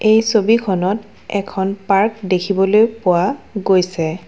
এই ছবিখনত এখন পাৰ্ক দেখিবলৈ পোৱা গৈছে।